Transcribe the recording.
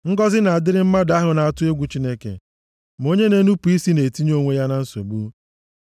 Ngọzị na-adịrị mmadụ ahụ na-atụ egwu Chineke, ma onye na-enupu isi na-etinye onwe ya na nsogbu.